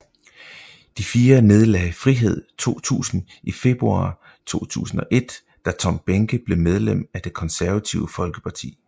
De fire nedlagde Frihed 2000 i februar 2001 da Tom Behnke blev medlem af Det Konservative Folkeparti